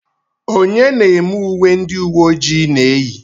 onye na-eme uwe ndị uwe ojii na-eyi